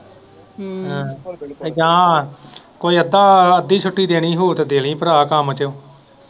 ਹਮ ਤੇ ਜਾਂ ਕੋਈ ਅੱਧਾ ਅੱਧੀ ਛੁੱਟੀ ਦੇਣੀ ਹੋਏਗੀ ਤੇ ਦੇ ਦੀ ਭਰਾ ਕੰਮ ਤੋਂ।